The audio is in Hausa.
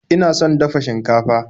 Ina son dafa shinkafa.